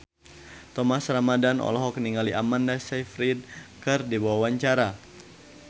Thomas Ramdhan olohok ningali Amanda Sayfried keur diwawancara